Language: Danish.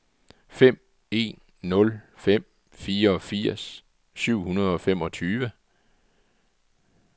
fem en nul fem fireogfirs syv hundrede og femogtyve